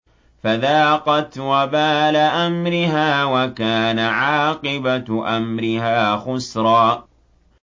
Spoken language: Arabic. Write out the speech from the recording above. فَذَاقَتْ وَبَالَ أَمْرِهَا وَكَانَ عَاقِبَةُ أَمْرِهَا خُسْرًا